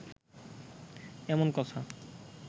এমন কথা